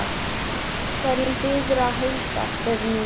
Hverjum biðurðu að heilsa? spurði Nína.